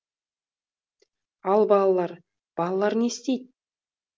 ал балалар балалар не істейді